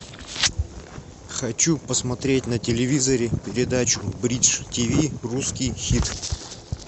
хочу посмотреть на телевизоре передачу бридж тв русский хит